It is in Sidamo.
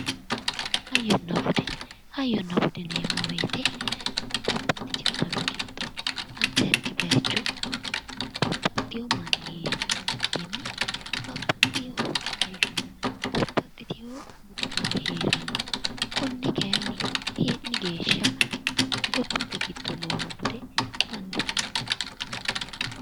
Hayyonna bude, hayyonna bude yinneemmo woyte babbaxitino daga giddo addi addi bayicho babbaxeyo manni heeri bikkinni babbaxeyo hayyonna budi babbaxeyo garinni heerano, kone kayinni eelli geeshsha gobbate giddo nooha bude bande anfeemmo.